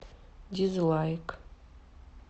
дизлайк